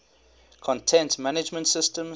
content management systems